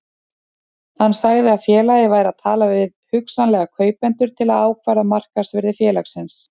Hann sagði að félagið væri að tala við hugsanlega kaupendur til að ákvarða markaðsvirði félagsins.